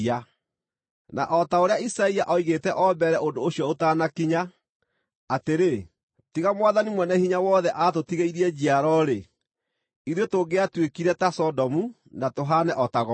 Na o ta ũrĩa Isaia oigĩte o mbere ũndũ ũcio ũtanakinya, atĩrĩ: “Tiga Mwathani Mwene-Hinya-Wothe aatũtigĩirie njiaro-rĩ, ithuĩ tũngĩatuĩkire ta Sodomu, na tũhaane o ta Gomora.”